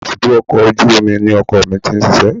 Ibùdó ọkọ̀ ojú omi ni ọkọ mi ti ń ṣiṣẹ́